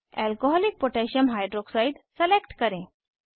alcoholic potassium hydroxidealcकोह select करें